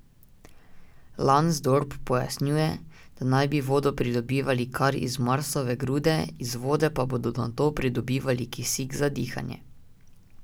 Lansdorp pojasnjuje, da naj bi vodo pridobivali kar iz marsove grude, iz vode pa bodo nato pridobivali kisik za dihanje.